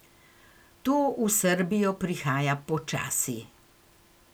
To v Srbijo prihaja počasi.